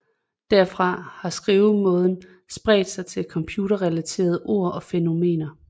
Derfra har skrivemåden spredt sig til computerrelaterede ord og fænomener